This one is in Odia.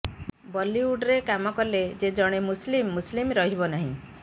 ବଲିଉଡ୍ରେ କାମ କଲେ ଯେ ଜଣେ ମୁସ୍ଲିମ ମୁସ୍ଲିମ ରହିବ ନାହିଁ